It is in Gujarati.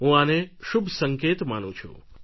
હું આને શુભ સંકેત માનું છું